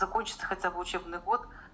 окончится хотя бы учебный год